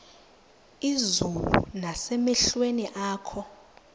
izulu nasemehlweni akho